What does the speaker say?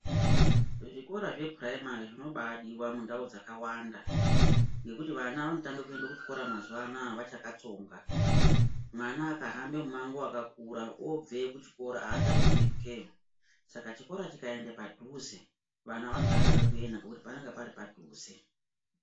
Zvikora zvepuraimari zvinombadiwa mundau dzakawanda ngokuti vana vanotanga kuenda kuchikora mazuwanawa vachakatsonga mwana akahamba mumango wakakura obveyo kuchikora achadi kupetukayo saka chikora chikaenda padhuze vana vanodakarira kuenda ngekuti panenge pari padhuze.